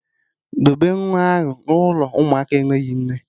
Debe nwa ahụ n'ụlọ ụmụaka enweghị nne